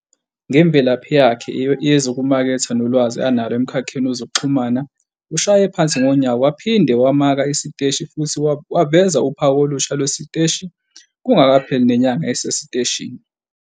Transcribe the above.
Ngemvelaphi yakhe yezokumaketha nolwazi analo emkhakheni wezokuxhumana, ushaye phansi ngonyawo, waphinde wamaka isiteshi futhi waveza uphawu olusha lwalesi siteshi kungakapheli nenyanga esesiteshini.